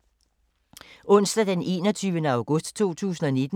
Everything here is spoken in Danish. Onsdag d. 21. august 2019